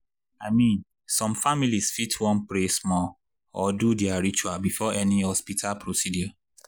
i mean some families fit wan pray small or do their ritual before any hospital procedure.